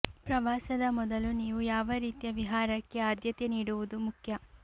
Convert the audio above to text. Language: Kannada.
ಪ್ರವಾಸದ ಮೊದಲು ನೀವು ಯಾವ ರೀತಿಯ ವಿಹಾರಕ್ಕೆ ಆದ್ಯತೆ ನೀಡುವುದು ಮುಖ್ಯ